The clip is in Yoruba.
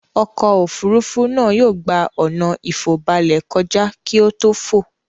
Ọkọ̀-òfurufú náà yóò gbà ọ̀nà ìfòbalẹ̀ kọjá kí ó tò fò.